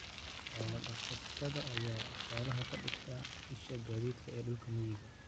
Xoolo-dhaqatada ayaa xoolaha ka dhigta isha gaadiidka ee dhulka miyiga ah.